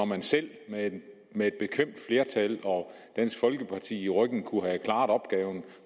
man selv med et bekvemt flertal og dansk folkeparti i ryggen kunne have klaret opgaven